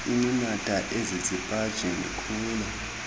iminatha ezizipaji mikhulu